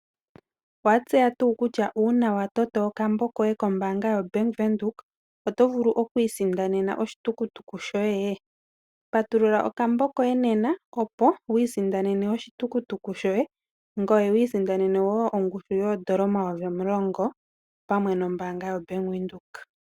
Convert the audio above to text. Owa tseya tuu kutya ngele wa toto okambo koye kombaanga yoBank Windhoek. Oto vulu okwii sindanena oshi tukutuku shoye? Patulula okambo koye nena. Opo wu sindane oshi tukutuku shoye ngoye wu sindanene wo ongushu yoodola omayovi omulongo opamwe nombaanga yaBank Windhoek.